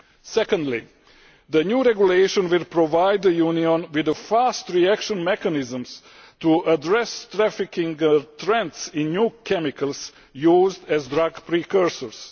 Secondly, the new regulation will provide the Union with fast reaction mechanisms to address trafficking trends in new chemicals used as drug precursors.